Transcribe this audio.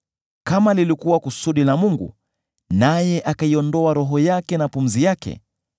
Kama lilikuwa kusudi la Mungu, naye akaiondoa Roho yake na pumzi yake,